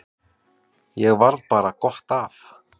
Og varð bara gott af.